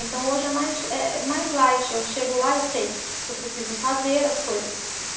Então, hoje é mais eh, mais light, eu chego lá, eu sei que eu preciso fazer as coisas